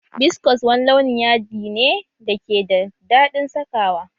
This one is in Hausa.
Biskos wani launin yaɗi ne da ke da daɗin saka wa